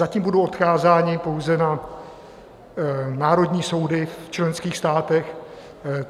Zatím budou odkázání pouze na národní soudy v členských státech.